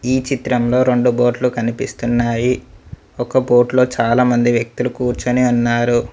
ఈ చిత్రంలో రెండు బోట్లు కనిపిస్తున్నాయి ఒక బోట్లో చాలా మంది వ్యక్తులు కూర్చొని ఉన్నారు.